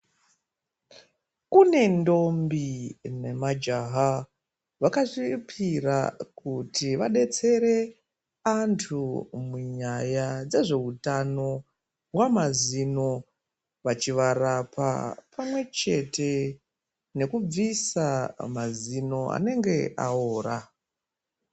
Kune ndombi nemajaha vakazvipira kuti vadetsere vantu munyaya dzezveutano hwemazino achivabetsera pamwe chete nekubvisa mazino achinge aora.